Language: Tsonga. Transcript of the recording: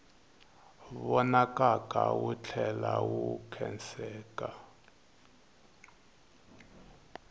vonakaka wu tlhela wu khenseka